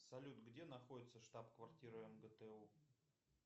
салют где находится штаб квартира мгту